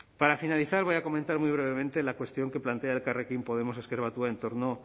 para finalizar voy a comentar muy brevemente la cuestión que plantea elkarrekin podemos ezker batua en torno